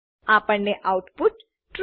આપણને output true